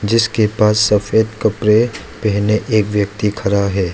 जिसके पास सफेद कपड़े पहने एक व्यक्ति खड़ा है।